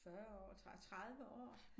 40 år 30 år